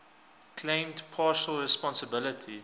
claimed partial responsibility